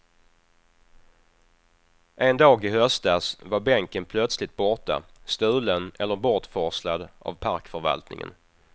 En dag i höstas var bänken plötsligt borta, stulen eller bortforslad av parkförvaltningen.